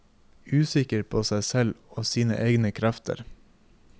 Usikker på seg selv og sine egne krefter.